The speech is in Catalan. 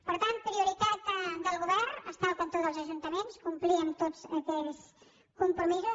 per tant prioritat del govern estar al cantó dels ajuntaments complir amb tots aquells compromisos